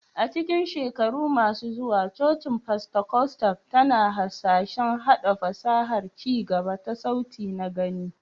A cikin shekaru masu zuwa, cocin Pentikostal tana hasashen haɗa fasahar ci gaba ta sauti na-gani